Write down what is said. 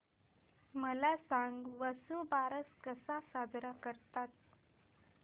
मला सांग वसुबारस कसा साजरा करतात